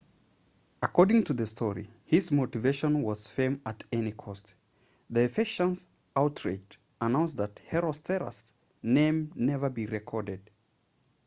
according to the story his motivation was fame at any cost the ephesians outraged announced that herostratus' name never be recorded